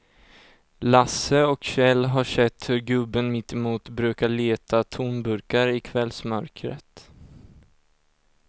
Lasse och Kjell har sett hur gubben mittemot brukar leta tomburkar i kvällsmörkret.